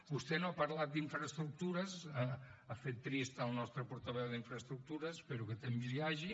vostè no ha parlat d’infraestructures ha fet trist el nostre portaveu d’infraestructures espero que temps hi hagi